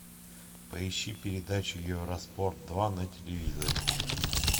поищи передачу евроспорт два на телевизоре